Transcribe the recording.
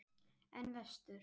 En vestur?